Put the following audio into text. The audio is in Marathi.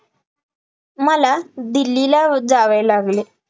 मला दिल्लीला जावे लागले